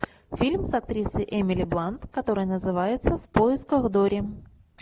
фильм с актрисой эмили блант который называется в поисках дори